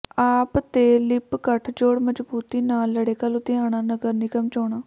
ਆਪ ਤੇ ਲਿੱਪ ਗਠਜੋੜ ਮਜਬੂਤੀ ਨਾਲ ਲੜੇਗਾ ਲੁਧਿਆਣਾ ਨਗਰ ਨਿਗਮ ਚੋਣਾਂ